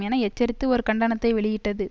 என எச்சரித்து ஒரு கண்டணத்தை வெளியிட்டது